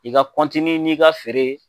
I ga kɔntini n'i ga feere